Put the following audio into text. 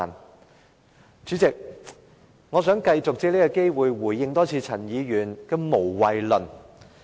代理主席，我想繼續借此機會再回應陳議員的"無謂論"。